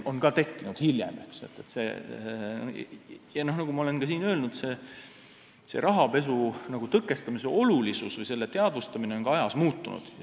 Nagu ma olen siin juba öelnud, rahapesu tõkestamise olulisus või õieti selle teadvustamine on ajas muutunud.